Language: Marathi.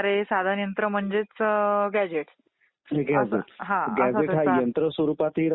निवडणूक ही एक अतिशय आणि फार महत्वाची लोकशाही मधील प्रक्रिया आहे.